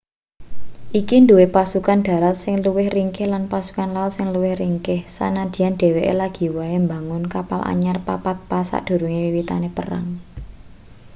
iki duwe pasukan dharat sing luwih ringkih lan pasukan laut sing luwih ringkih sanadyan dheweke lagi wae mbangun kapal anyar papat pas sadurunge wiwitane perang